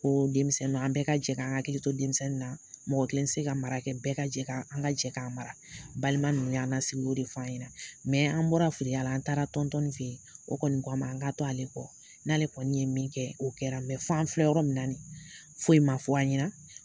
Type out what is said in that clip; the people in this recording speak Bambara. Ko denmisɛnninw, an bɛɛ ka jɛ k'an hakilili to denmisɛnninw na. Mɔgɔ kelen tɛ se ka mara kɛ. Bɛɛ ka jɛ, an ka jɛ k'a mara. Balima ninnu y'an lasigi, o ye de f'an ɲɛna. Mɛ an bɔra firiya la, an taara tɔntɔn nin fɛ, o kɔni ko an ma, an ka to ale kɔ. N'ale kɔni ye min kɛ, o kɛra. Mɛ f'an filɛ yɔrɔ min na, foyi ma fɔ an ɲɛna.